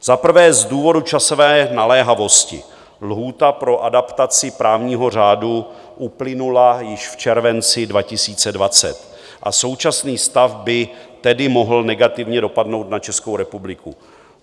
Za prvé z důvodu časové naléhavosti, lhůta pro adaptaci právního řádu uplynula již v červenci 2020, a současný stav by tedy mohl negativně dopadnout na Českou republiku.